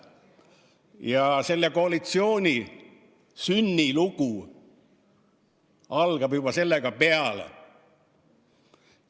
Ja selle koalitsiooni sünnilugu algab juba sellega peale.